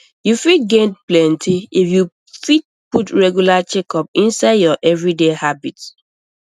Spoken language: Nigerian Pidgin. you fit gain plenty if you fit put regular checkups inside your everyday habit